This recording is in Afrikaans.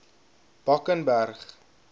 bakenberg